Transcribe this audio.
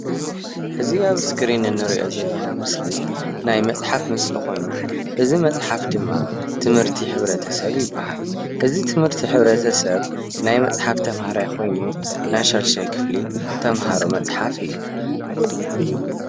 እዚ ኣብ እስክሪን እንሪኦ ዘለና ምስሊ ናይ መፅሓፍ ምስሊ ኾይኑ እዚ መፅሓፍ ድማ ትምህርቲ ሕብረተሰብ ይብሃል። እዚ ትምህርቲ ሕብረተሰብ ናይ መፅሓፍ ተምሃራይ ኮይኑ ናይ ሻድሻይ ክፍሊ ተምሃሮ መፅሓፍ እዩ።